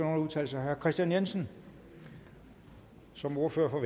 at udtale sig herre kristian jensen som ordfører for